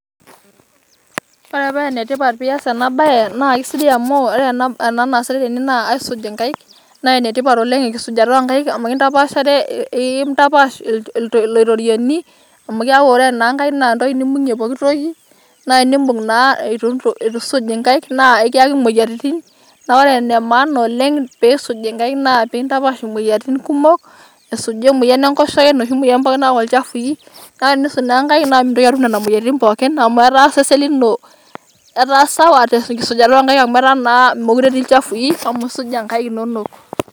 Ore paa ene tipat tenias ena bae naa asidai amu ore ena bae naasitae tene naa aisuj' Enkaik naa enetipat oleng' engisujata oo nkaik amu ekintapaashare ekintapaash ilorierioni amu keeku naa Nkaik entoki neibung'ie pooki toki naa eniibung' naa eitu eesuj enkaik naa ekiyaki emoyiaritin ore ene maana oleng' peesuj enkaik naa enkintapaash imoyiaritin kumok esuju emoyian Enkoshoke, enoshi moyian pokin nayaubl ilchafui kake teniisuj naa enkaik naa mintoki atum Nena moyiaritin pookin amu etaa naa osesen lino etaa sawa teng'isujata oo nkaik amu etaa naa meekure etii ilchafui amu esuja enkaik inonok.